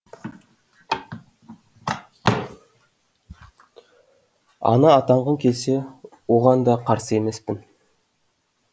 ана атанғың келсе оған да қарсы емеспін